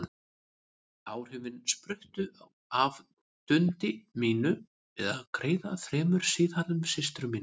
Áhrifin spruttu af dundi mínu við að greiða þremur síðhærðum systrum mínum.